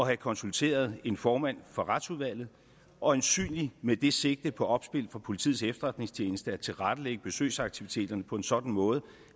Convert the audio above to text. have konsulteret en formand for retsudvalget øjensynligt med det sigte på opspil fra politiets efterretningstjeneste at tilrettelægge besøgsaktiviteterne på en sådan måde